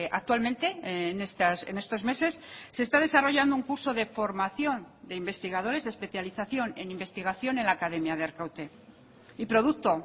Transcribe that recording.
actualmente en estos meses se está desarrollando un curso de formación de investigadores de especialización en investigación en la academia de arkaute y producto